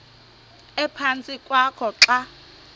ephantsi kwakho xa